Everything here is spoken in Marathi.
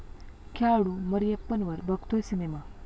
खेळाडू मरियप्पनवर बनतोय सिनेमा